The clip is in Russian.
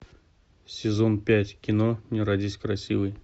сезон пять кино не родись красивой